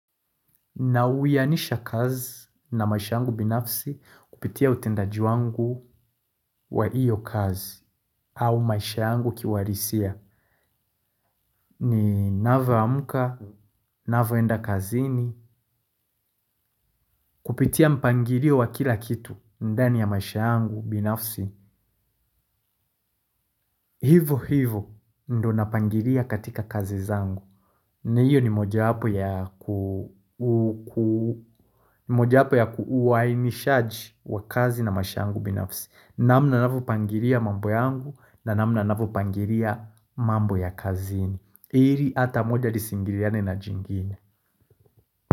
Na uwihanisha kazi na maisha yangu binafsi kupitia utendaji wangu wa hiyo kazi au maisha yangu ki uhalisia ninapo amka, ninapo enda kazini kupitia mpangilio wa kila kitu ndani ya maisha yangu binafsi. Hivo hivo ndio napangilia katika kazi zangu. Na hiyo ni moja wapo ya kuwaimishaji wakaazi na maisha yangu binafsi. Namna ninavyo pangilia mambo yangu na namna ninavyo pangilia mambo ya kazini ili ata moja lisiingiliane na jingine.